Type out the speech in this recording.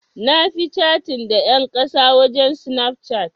Na fi catin da ƴan ƙasan waje a Snapchat.